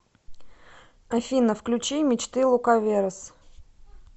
афина включи мечты лукаверос